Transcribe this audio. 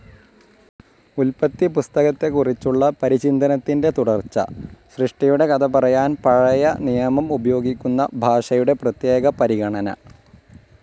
ഉല്പത്തിപ്പുസ്തകത്തെക്കുറിച്ചുള്ള പരിചിന്തനത്തിന്റെ തുടർച്ച. സൃഷ്ടിയുടെ കഥ പറയാൻ പഴയ നിയമം ഉപയോഗിക്കുന്ന ഭാഷയുടെ പ്രത്യേക പരിഗണന.